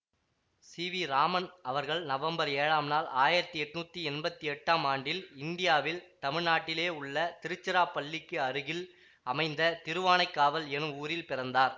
சிவிஇராமன் அவர்கள் நவம்பர் ஏழாம் நாள் ஆயிரத்தி எட்ணூத்தி எம்பத்தி எட்டாம் ஆண்டில் இந்தியாவில் தமிழ்நாட்டிலே உள்ள திருச்சிராபள்ளிக்கு அருகில் அமைந்த திருவானைக்காவல் எனும் ஊரில் பிறந்தார்